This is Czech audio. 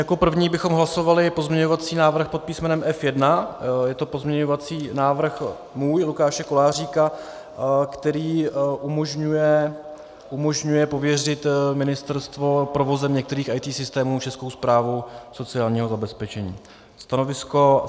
Jako první bychom hlasovali pozměňovací návrh pod písmenem F1, je to pozměňovací návrh můj, Lukáše Koláříka, který umožňuje pověřit ministerstvo provozem některých IT systémů Českou správu sociálního zabezpečení.